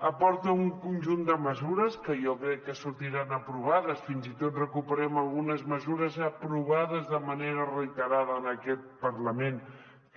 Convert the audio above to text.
aporta un conjunt de mesures que jo crec que sortiran aprovades fins i tot recuperem algunes mesures aprovades de manera reiterada en aquest parlament